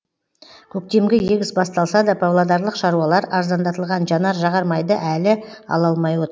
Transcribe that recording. көктемгі егіс басталса да павлодарлық шаруалар арзандатылған жанар жағар майды әлі ала алмай от